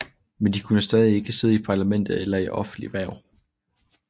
Men de kunne stadig ikke sidde i parlamentet eller i offentlige hverv